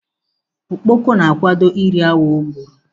Okpoko na-akwado ị ri awọ o gburu.